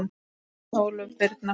Þín Ólöf Birna.